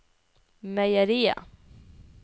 meieriet